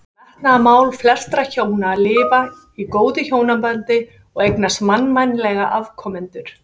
Þá var metnaðarmál flestra hjóna að lifa í góðu hjónabandi og eignast mannvænlega afkomendur.